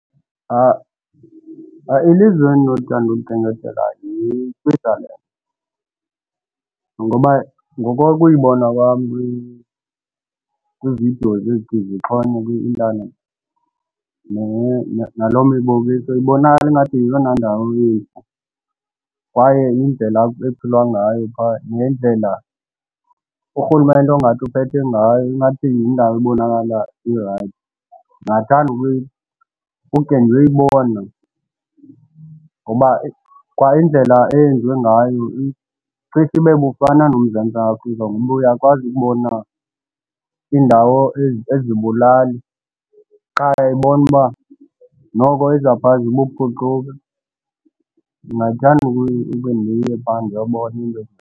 Ilizwe endinolithanda ukulikhenkethela yi-Switzerland ngoba ngokokuyibona kwam kwiividiyo ezithi zixhonywe kwi-intanethi naloo miboniso ibonakale ingathi yeyona ndawo kwaye indlela ekuphilwa ngayo phaa ngendlela urhulumente ongathi uphethe ngayo ingathi yindawo ebonakala irayithi. Ndingathanda ukukhe ndiyoyibona ngoba kwa indlela eyenziwe ngayo icishe ibe bufana noMzantsi Afrika ngoba uyakwazi ukubona iindawo ezibulali qha uyayibona uba noko ezaphaa zibuphucuka. Ndingathanda ukhe ndiye phaa ndiyobona into.